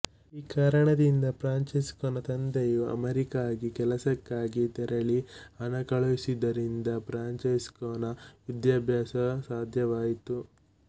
ಈ ಕಾರಣದಿಂದ ಫ್ರಾನ್ಚೆಸ್ಕೊನ ತಂದೆಯು ಅಮೆರಿಕೆಗೆ ಕೆಲಸಕ್ಕಾಗಿ ತೆರಳಿ ಹಣ ಕಳಿಸಿದ್ದರಿಂದ ಫ್ರಾಂಚೆಸ್ಕೊನ ವಿದ್ಯಾಭ್ಯಾಸ ಸಾಧ್ಯವಾಯಿತು